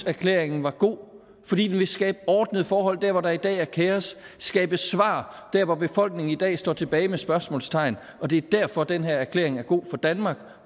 erklæringen var god fordi den vil skabe ordnede forhold der hvor der i dag er kaos skabe svar der hvor befolkningen i dag står tilbage med spørgsmålstegn det er derfor den her erklæring er god for danmark